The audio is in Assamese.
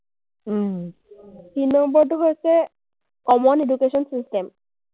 তিনি নম্বৰটো হৈছে common education system ।